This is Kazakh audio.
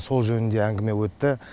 сол жөнінде әңгіме өтті